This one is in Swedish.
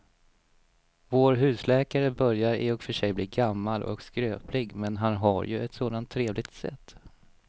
Vår husläkare börjar i och för sig bli gammal och skröplig, men han har ju ett sådant trevligt sätt!